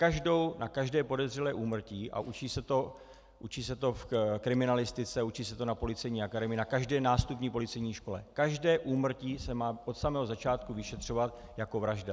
Každé podezřelé úmrtí - a učí se to v kriminalistice, učí se to na Policejní akademii, na každé nástupní policejní škole, každé úmrtí se má od samého začátku vyšetřovat jako vražda.